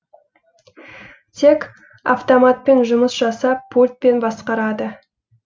тек автоматпен жұмыс жасап пультпен басқарады